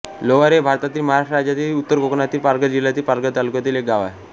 लोवारे हे भारतातील महाराष्ट्र राज्यातील उत्तर कोकणातील पालघर जिल्ह्यातील पालघर तालुक्यातील एक गाव आहे